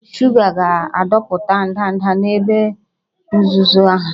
Shuga ga-adọpụta ndanda n'ebe nzuzo ha